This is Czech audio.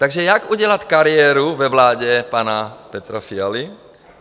Takže jak udělat kariéru ve vládě pana Petra Fialy?